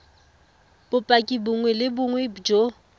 bopaki bongwe le bongwe jo